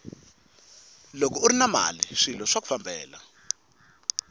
loko urini mali swilo swaku fambela